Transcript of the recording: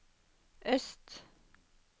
øst